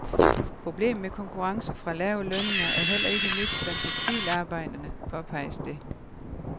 Problemet med konkurrence fra lave lønninger er heller ikke nyt blandt tekstilarbejderne, påpeges det.